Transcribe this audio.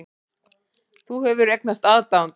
Þú hefur eignast aðdáanda.